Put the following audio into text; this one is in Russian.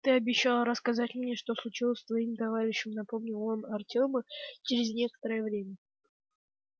ты обещал рассказать мне что случилось с твоим товарищем напомнил он артёму через некоторое время